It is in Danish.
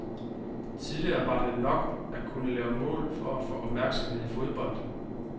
Tidligere var det nok at kunne lave mål for at få opmærksomhed i fodbold.